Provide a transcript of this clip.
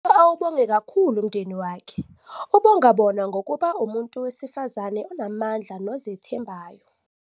Awubonge kakhulu umndeni wakhe, ubongabona ngokuba ngumuntu wesifazane onamandla nozethembayo.